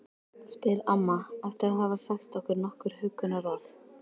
spyr amma eftir að hafa sagt nokkur huggunarorð.